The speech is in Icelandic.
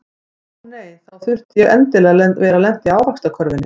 En ó nei, þá þurfti ég endilega að vera lent í ávaxtakörfunni.